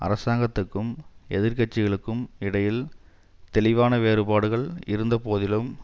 அரசாங்கத்துக்கும் எதிர் கட்சிகளுக்கும் இடையில் தெளிவான வேறுபாடுகள் இருந்த போதிலும்